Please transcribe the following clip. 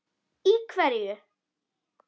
Í hverju?